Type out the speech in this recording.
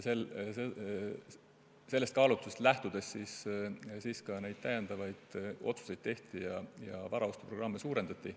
Sellest kaalutlusest lähtudes tehtigi need otsused ja varaostuprogramme suurendati.